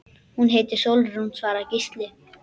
Hún heitir Sólrún, svaraði Gísli.